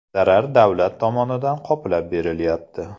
Zarar davlat tomonidan qoplab berilyapti.